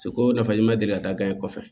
Seko nafa i ma deli ka taa e kɔfɛ